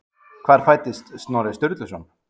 Hvar fæddist Snorri Sturluson?